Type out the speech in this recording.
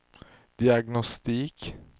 diagnostik